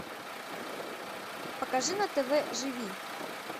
покажи на тв живи